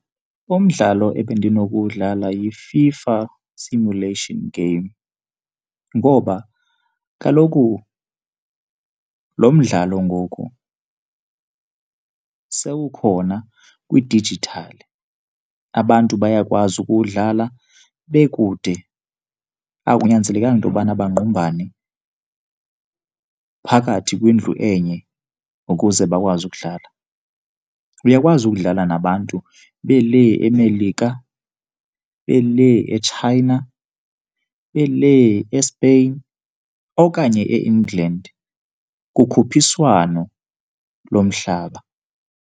Umdlalo ebendinokuwudlala yi-FIFA Simulation game ngoba kaloku lo mdlalo ngoku sewukhona kwidijithali. Abantu bayakwazi ukuwudlala bekude, akunyanzelekanga into yobana bangqumbane phakathi kwindlu enye ukuze bakwazi ukudlala. Uyakwazi ukudlala nabantu belee eMelika, belee eChina, belee eSpain okanye eEngland kukhuphiswano lomhlaba.